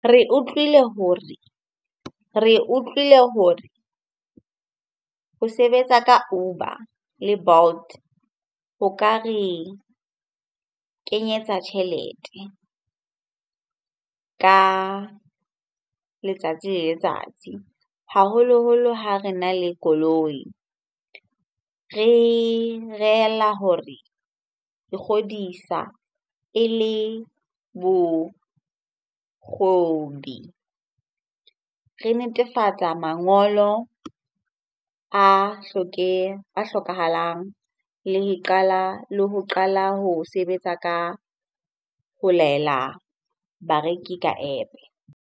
Re utlwile hore, re utlwile hore ho sebetsa ka Uber le Bolt ho ka re kenyetsa tjhelete ka letsatsi le letsatsi haholoholo ha re na le koloi. Re hore re kgodisa e le bo . Re netefatsa mangolo a a hlokahalang le qala, le ho qala ho sebetsa ka ho laela bareki ka App-e.